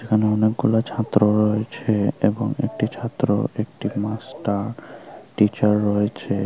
এখানে অনেকগুলো ছাত্র রয়েছে এবং একটি ছাত্র একটি মাস্টার টিচার রয়েছে।